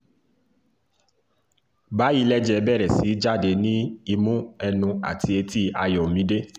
báyìí lẹ̀jẹ̀ bẹ̀rẹ̀ sí í jáde ní imú ẹnu àti etí ayọ́mídé